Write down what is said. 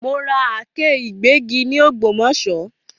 Mo ra Àáké ìgbẹ́gi ni ògbómòṣó